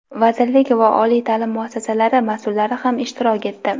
vazirlik va oliy taʼlim muassasalari masʼullari ham ishtirok etdi.